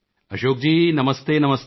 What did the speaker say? ਅਸ਼ੋਕ ਜੀ ਨਮਸਤੇ ਨਮਸਤੇ